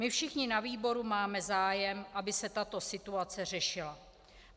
My všichni na výboru máme zájem, aby se tato situace řešila.